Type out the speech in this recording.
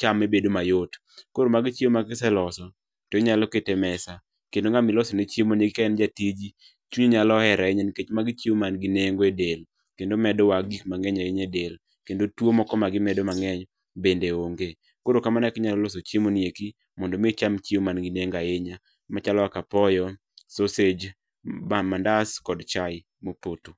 chame bedo mayot. Koro magi chiemo ma ka iseloso, to inyalo keto e mesa. Kendo ng'ama ilosone chiemoni ka en jatiji, chunyi nyalo hero ahinya nikech magi chiemo man gi nengo e del, kendo medowa gik mang'eny ahinya e del. Kendo tuo moko magimedo mang'eny, bende onge. Koro kamano e kaka inyalo loso chiemoni eki mondo mi icham chiemo man gi nengo ahinya, machalo kaka apoyo, sosej, mandas kod chai mopoto